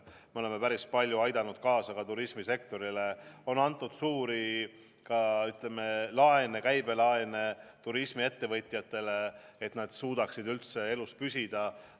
Me oleme päris palju aidanud turismisektorit, on antud suuri laene, käibelaene turismiettevõtjatele, et nad suudaksid üldse elus püsida.